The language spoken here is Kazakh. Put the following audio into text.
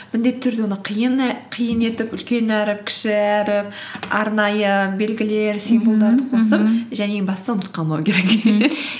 міндетті түрде оны қиын етіп үлкен әріп кіші әріп арнайы белгілер және ең бастысы ұмытып қалмау керек